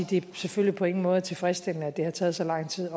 det selvfølgelig på ingen måde er tilfredsstillende at det har taget så lang tid